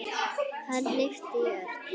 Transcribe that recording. Hann hnippti í Örn.